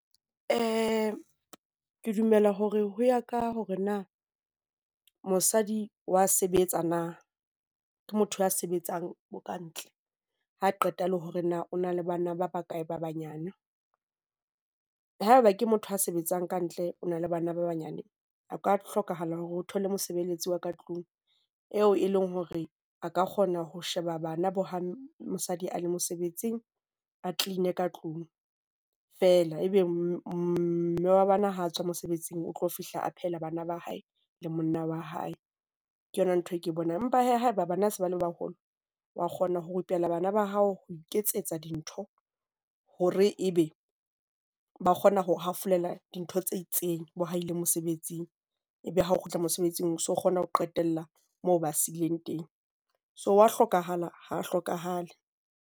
Ee, ke dumela hore ho ya ka hore na mosadi o a sebetsa na. Ke motho a sebetsang ka ntle, ha qeta le hore na o na le bana ba bakae ba banyane. Haeba ke motho a sebetsang ka ntle, o na le bana ba banyane. Ho ka hlokahala hore o thole mosebeletsi wa ka tlung eo e leng hore a ka kgona ho sheba bana bo ha mosadi a le mosebetsing, a clean ka tlung fela. Ebe mme wa bona ha a tswa mosebetsing o tlo fihla a phehela bana ba hae le monna wa hae, ke yona nthwe eo ke e bonang. Empa haeba bana ba se ba le baholo, wa kgona ho rupella bana ba hao ho iketsetsa dintho hore ebe ba kgona ho hafolela dintho tse itseng, Bo ha ile mosebetsing, ebe ha o kgutla mosebetsing, so kgona ho qetella moo ba seileng teng. So ho a hlokahala ha ho hlokahale.